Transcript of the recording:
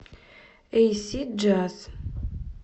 эйсид джаз